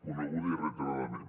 coneguda i reiteradament